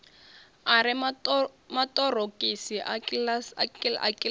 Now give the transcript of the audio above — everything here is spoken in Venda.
a re maṱorokisi a kiḽasi